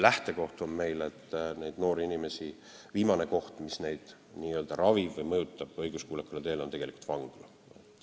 Lähtekoht on meil, et viimane koht, mis neid noori inimesi n-ö ravib ja mõjutab õiguskuulekale teele pöörama, on tegelikult vangla.